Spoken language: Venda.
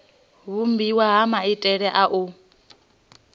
vhumbiwa ha maitele a u